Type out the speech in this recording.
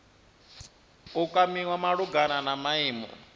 u kwamiwa malugana na maimo